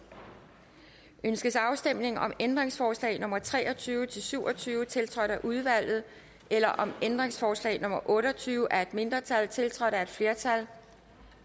ønskes afstemning om ændringsforslag nummer tre og tyve til syv og tyve tiltrådt af udvalget eller om ændringsforslag nummer otte og tyve af et mindretal tiltrådt af et flertal